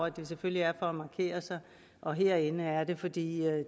at det selvfølgelig er for at markere sig og herinde er det fordi